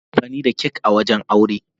Ana amfani da kak wajen aure.